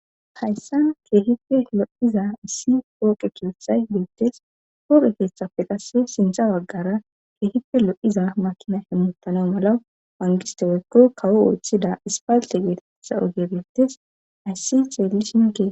hayssa keehipe lo7iza issi pooqe keethay beettes hoope keeththafe qasse sintha baggara keehipe lo7iza makina hemmutana mala pangisteweykko kawo ooththida ispalte geetetha oge beettes ayssi ceelli shinke